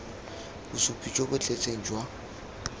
bosupi jo bo tletseng jwa